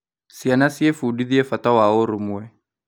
Ciana ciĩbundithagia bata wa ũrũmwe.